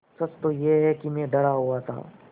सच तो यह है कि मैं डरा हुआ था